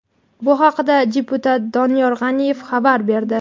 Bu haqda deputat Doniyor G‘aniyev xabar berdi.